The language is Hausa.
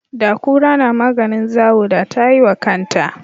Da kura namaganin zawo da ta yi wa kanta